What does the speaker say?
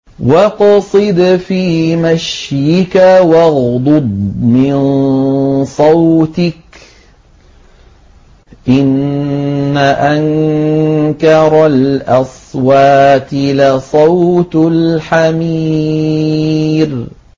وَاقْصِدْ فِي مَشْيِكَ وَاغْضُضْ مِن صَوْتِكَ ۚ إِنَّ أَنكَرَ الْأَصْوَاتِ لَصَوْتُ الْحَمِيرِ